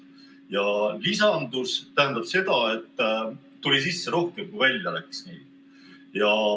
Ja "lisandus" tähendab seda, et tuli sisse rohkem, kui välja läks.